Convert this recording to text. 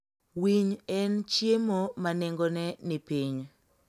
Winy en chiemo ma nengone ni piny.